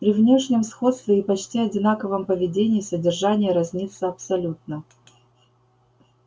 при внешнем сходстве и почти одинаковом поведении содержание разнится абсолютно